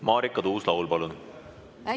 Marika Tuus-Laul, palun!